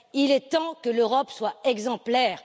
Il est temps que l'Europe soit exemplaire.